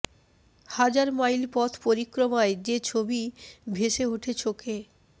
হাজার মাইল পথ পরিক্রমায় যে ছবি ভেসে ওঠে চোখে